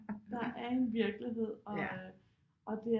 Der er en virkelighed og øh og det